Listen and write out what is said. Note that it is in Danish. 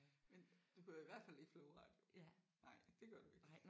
Men du hører i hvert fald ikke flowradio. Nej det gør du ikke